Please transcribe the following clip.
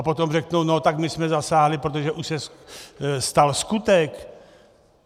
A potom řeknou no tak my jsme zasáhli, protože už se stal skutek.